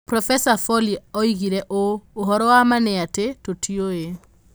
Profesa Foley oigire ũũ: "Ũhoro wa ma nĩ atĩ, tũtiũĩ".